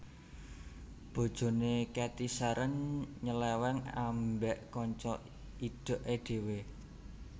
Bojone Cathy Sharon nyeleweng ambek kanca idhek e dhewe